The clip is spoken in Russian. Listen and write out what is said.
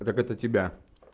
так это тебя